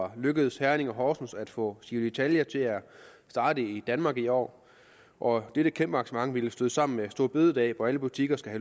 er lykkedes herning og horsens at få giro ditalia til at starte i danmark i år år dette kæmpe arrangement ville støde sammen med store bededag hvor alle butikker skal